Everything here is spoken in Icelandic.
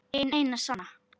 Hin eina sanna